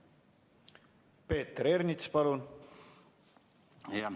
Peeter Ernits, palun!